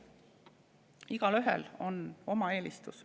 Igaühel on oma eelistus.